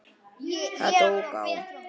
Það tók á.